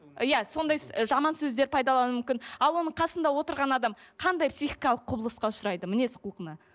иә сондай і жаман сөздер пайдалануы мүмкін а оның қасында отырған адам қандай психикалық құбылысқа ұшырайды мінез құлқына